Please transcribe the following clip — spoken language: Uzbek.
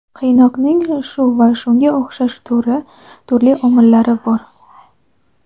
Qiynoqning shu va shunga o‘xshash turli omillari bor.